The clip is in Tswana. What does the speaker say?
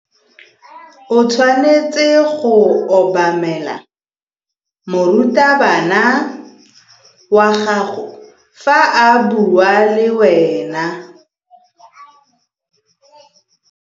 O tshwanetse go obamela morutabana wa gago fa a bua le wena.